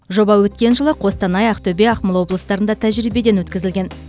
жоба өткен жылы қостанай ақтөбе ақмола облыстарында тәжірибеден өткізілген